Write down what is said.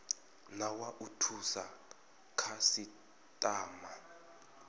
na wa u thusa khasitama